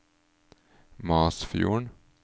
Masfjorden